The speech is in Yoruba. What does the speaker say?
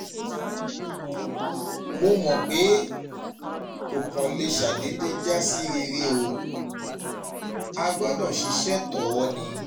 mo mọpe ko kan le ṣa dede ja si rere o, a gbọdọ ṣisẹ tọọ ni